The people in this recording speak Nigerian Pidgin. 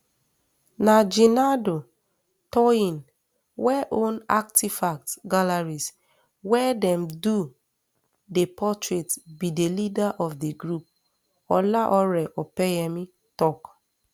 na jinadu toyin wey own artifact galleries wia dem do di portrait be di leader of di group olaore opeyemi tok